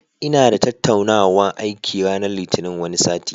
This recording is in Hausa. Inada tattaunawan aiki ranar Litinin wani sati